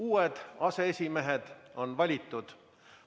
Uued aseesimehed on valitud.